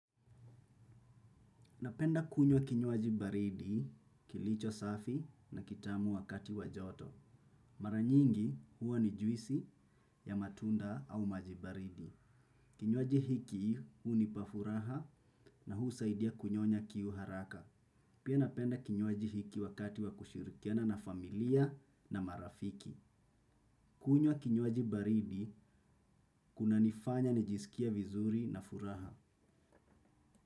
Napenda kunywa kinywaji baridi kilicho safi na kitamu wakati wajoto. Maranyingi huwa ni juisi ya matunda au maji baridi. Kinywaji hiki hunipa furaha na husaidia kunyonya kiu haraka. Pia napenda kinywaji hiki wakati wa kushirikiana na familia na marafiki. Kunywa kinywaji baridi, kinanifanya nijisikie vizuri na furaha.